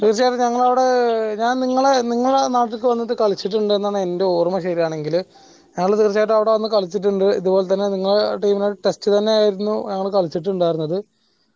തീർച്ചയായിട്ടും ഞങ്ങളവിടെ ഞാൻ നിങ്ങള നിങ്ങള നാട്ടിക്ക് വന്നിട്ട് കളിച്ചിട്ടുണ്ട്ന്നാണ് എന്റെ ഓർമ്മ ശരിയാണെങ്കിൽ ഞങ്ങൾ തീർച്ചയായിട്ടും അവിടെ വന്നിട്ട് കളിച്ചിട്ടുണ്ട് ഇതുപോൽ തന്നെ നിങ്ങള team നായിട്ട് test തന്നേയായിരുന്നു ഞങ്ങൾ കളിച്ചിട്ടുണ്ടായിരുന്നത്